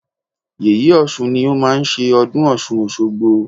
Yèyé Ọ̀ṣun ni ó máa ń ṣe ọdún Ọ̀ṣun òṣogbo.